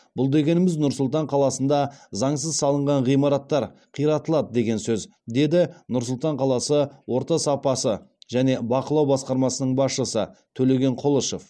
бұл дегеніміз нұр сұлтан қаласында заңсыз салынған ғиматтар қиратылады деген сөз деді нұр сұлтан қаласы орта сапасы және бақылау басқармасының басшысы төлеген құлышев